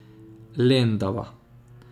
Lendava.